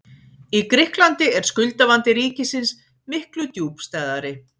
Í Grikklandi er skuldavandi ríkisins miklu djúpstæðari.